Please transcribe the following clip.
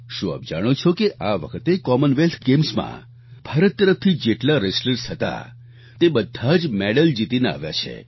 શું આપ જાણો છો કે આ વખતે કોમનવેલ્થ ગેમ્સમાં ભારત તરફથી જેટલા રેસ્ટલર્સ હતા તે બધાં જ મેડલ જીતીને આવ્યા છે